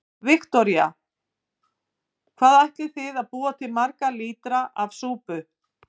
Viktoría: Hvað ætlið þið að búa til marga lítra af súpu?